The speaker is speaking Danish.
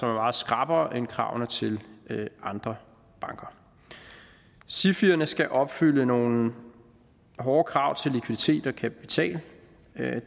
er meget skrappere end kravene til andre banker sifierne skal opfylde nogle hårde krav til likviditet og kapital